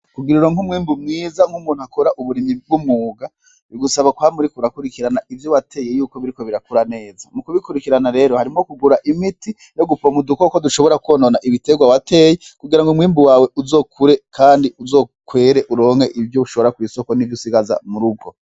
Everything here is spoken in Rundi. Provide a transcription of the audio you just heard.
Kugira uronke umwimbu mwiza nk'umuntu akora uburimyi bw'umwuga, bigusaba kwama uriko urakurikirana ivyo wateye y'uko biriko birakura neza. Mu kubikurikirana rero harimwo kugura imiti yo gupompa udukoko dushobora kwonona ibiterwa wateye kugira ngo umwimbu wawe uzokure kandi uzokwere, uronke ivyo ushora kw'isoko n'ivyo usigaza mu rugo.